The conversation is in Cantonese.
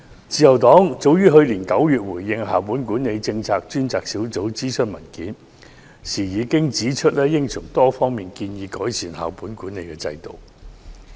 自由黨去年9月回應校本管理政策專責小組諮詢文件時指出，應從多方面改善校本管理制度。